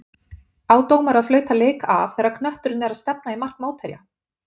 Á dómari að flauta leik af þegar knötturinn er að stefna í mark mótherja?